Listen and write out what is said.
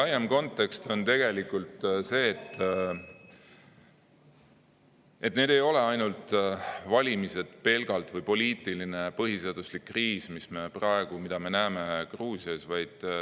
Laiem kontekst on tegelikult see, et need ei ole ainult valimised või poliitiline põhiseaduslikkuse kriis, mida me näeme praegu Gruusias.